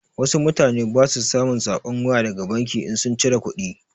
Wasu mutane ba su samun saƙon waya daga banki in sun cire kuɗi.